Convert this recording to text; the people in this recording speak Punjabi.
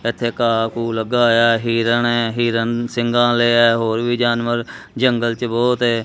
ਇੱਥੇ ਘਾਹ ਘੂਹ ਲੱਗਾ ਹੋਇਆ ਐ ਹੀਰਣ ਐ ਹੀਰਣ ਸਿੰਘਾਂ ਆਲ਼ੇ ਐ ਹੋਰ ਵੀ ਜਾਨਵਰ ਜੰਗਲ 'ਚ ਬਹੁਤ ਏ।